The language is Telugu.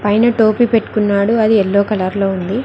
పైన టోపీ పెట్టుకున్నాడు అది ఎల్లో కలర్ లో ఉంది.